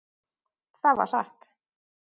Það var satt.